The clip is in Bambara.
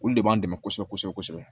Olu de b'an dɛmɛ kosɛbɛ kosɛbɛ